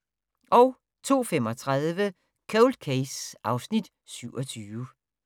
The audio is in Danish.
02:35: Cold Case (Afs. 27)